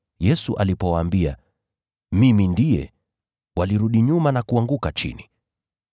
Yesu alipowaambia, “Mimi ndiye,” walirudi nyuma na kuanguka chini!